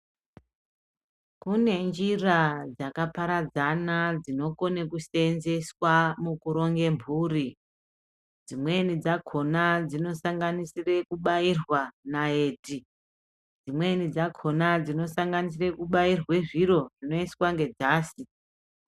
Kune njira dzaka paradzana dzino kone kusenzeswa mukuronge mhuri. Dzimweni dzakona dzino sanganisira kubairwa naiti. Dzimweni dzakona dzino sanganisire kubairwa zviro zvinoiswa ngedzasi.